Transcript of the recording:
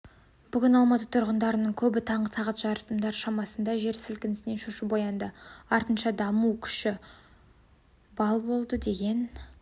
бүгін алматы тұрғындарыныңкөбітаңғы сағат жарымдар шамасындағы жер сілкінісінен шошып оянды артынша дүмпу күші балл болды деген